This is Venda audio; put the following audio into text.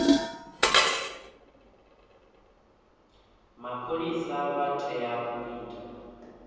mapholisa u tea u ita